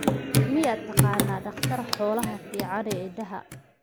miyaad taqaan daqtar xoolaha fican ee idaha